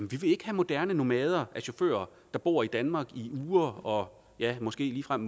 vi vil ikke have moderne nomader af chauffører der bor i danmark i uger og ja måske ligefrem